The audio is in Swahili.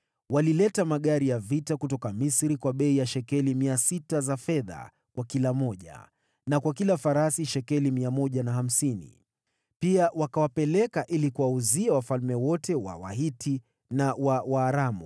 Waliagiza magari kutoka Misri kwa bei ya shekeli 600 za fedha, na farasi kwa shekeli 150. Pia waliwauza nje kwa wafalme wote wa Wahiti na wa Waaramu.